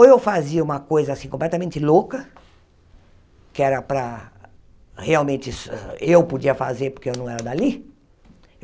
Ou eu fazia uma coisa, assim, completamente louca, que era para, realmente, eu podia fazer porque eu não era dali.